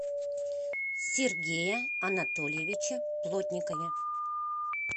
сергее анатольевиче плотникове